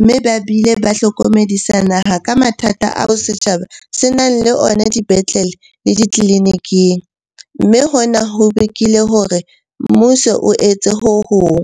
mme ba bile ba hlokomedisa naha ka mathata ao setjhaba se nang le ona dipetlele le ditleliniking, mme hona ho bakile hore mmuso o etse ho hong.